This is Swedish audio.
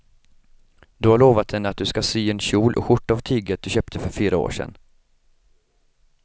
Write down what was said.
Du har lovat henne att du ska sy en kjol och skjorta av tyget du köpte för fyra år sedan.